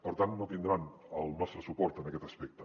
per tant no tindran el nostre suport en aquest aspecte